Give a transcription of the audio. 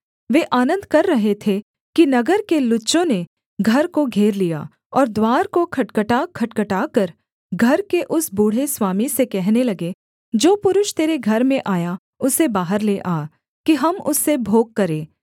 वे आनन्द कर रहे थे कि नगर के लुच्चों ने घर को घेर लिया और द्वार को खटखटाखटखटाकर घर के उस बूढ़े स्वामी से कहने लगे जो पुरुष तेरे घर में आया उसे बाहर ले आ कि हम उससे भोग करें